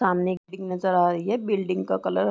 सामने एक बिल्डिंग नज़र आ रही है बिल्डिंग का कलर --